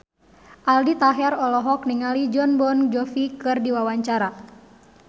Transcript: Aldi Taher olohok ningali Jon Bon Jovi keur diwawancara